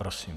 Prosím.